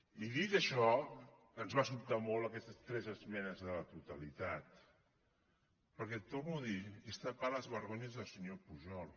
i dit això ens van sobtar molt aquestes tres esmenes a la totalitat perquè ho torno a dir és tapar les vergonyes del senyor pujol